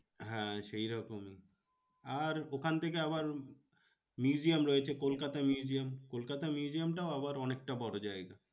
হ্যাঁ সেই রকমই আর ওখান থেকে আবার museum রয়েছে কলকাতা museum কলকাতা museum টাও আবার অনেকটা বড়ো জায়গা।